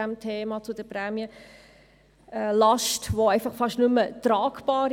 Die Prämienlast ist kaum mehr tragbar.